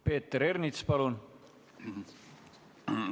Peeter Ernits, palun!